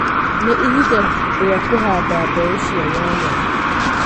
Nĩ ihinda rĩa kũhanda mbeũ cia nyanya.